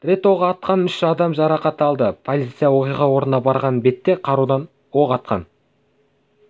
рет оқ атқан ұш адам жарақат алды полиция оқиға орнына барған бетте қарудан оқ атқан